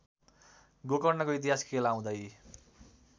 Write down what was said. गोकर्णको इतिहास केलाउँदै